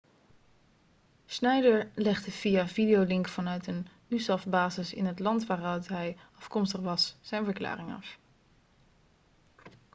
schneider legde via videolink vanuit een usaf-basis in het land waaruit hij afkomstig was zijn verklaring af